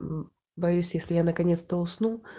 мм боюсь если я наконец-то усну